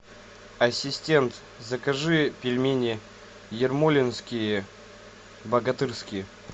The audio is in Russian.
ассистент закажи пельмени ермолинские богатырские